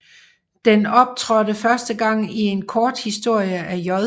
Den optrådtde første gang i en korthistorie af J